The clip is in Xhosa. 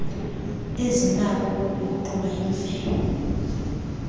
ezinakho ukuguqulwa yimvelo